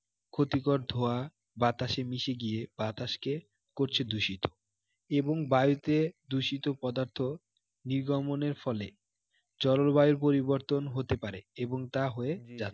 ক্ষতিকর ধোঁয়া বাতাসে মিশে গিয়ে বাতাসকে করছে দূষিত, এবং বায়ুতে দূষিত পদার্থ নির্গমনের ফলে জলবায়ুর পরিবর্তন হতে পারে এবং তা হয়ে যাচ্ছে